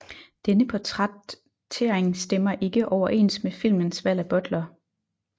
Denne portrættering stemmer ikke overens med filmens valg af butler